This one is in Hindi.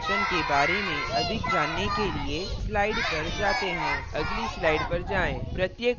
अब main function के बारे में अधिक जानने के लिए slides पर जाते हैं अगली slides पर जाएँ